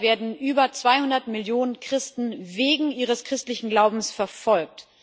Weltweit werden über 200 Millionen Christen wegen ihres christlichen Glaubens verfolgt.